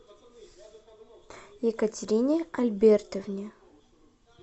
екатерине альбертовне